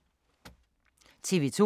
TV 2